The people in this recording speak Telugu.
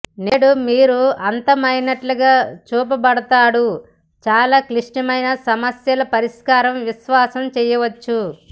నేడు మీరు అంతమయినట్లుగా చూపబడతాడు చాలా క్లిష్టమైన సమస్యల పరిష్కారం విశ్వాసం చేయవచ్చు